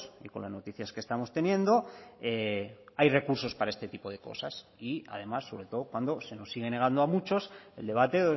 y con las noticias que estamos teniendo hay recursos para este tipo de cosas y además sobre todo cuando se nos sigue negando a muchos el debate